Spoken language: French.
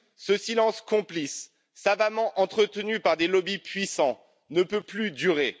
Ce silence complice, savamment entretenu par des lobbies puissants, ne peut plus durer.